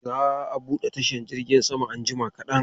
Za a bude tashar jirgin saman anjima kadan.